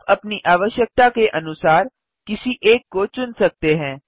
आप अपनी आवश्यकता के अनुसार किसी एक को चुन सकते हैं